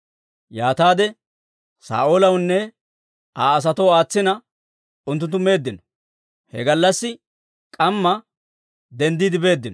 Yaataade Saa'oolawunne Aa asatoo aatsina, unttunttu meeddino. He gallassi k'amma denddiide beeddino.